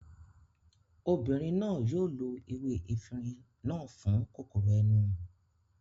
Obìnrin náà yóò lo ewé efinrin náà fún kòkòrò ẹnu